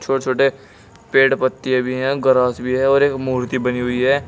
वो छोटे पेड़ पत्ते भी है ग्रास भी है और एक मूर्ति बनी हुई है।